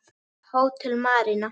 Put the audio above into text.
Hótel Marína.